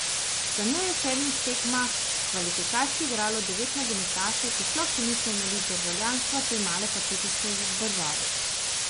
Za njo je v sedmih tekmah kvalifikacij igralo devet nogometašev, ki sploh še niso imeli državljanstva te male pacifiške države.